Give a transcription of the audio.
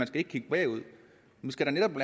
skal kigge bagud man skal da netop